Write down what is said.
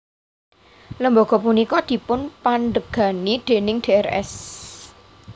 Lembaga punika dipunpandhegani déning Drs